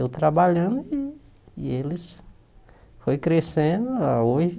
Eu trabalhando e e eles... Foi crescendo, ah hoje...